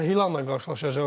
Əl-Hilalla qarşılaşacaqlar.